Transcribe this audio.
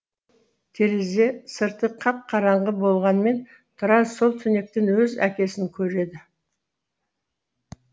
терезе сырты қап қараңғы болғанмен тұрар сол түнектен өз әкесін көреді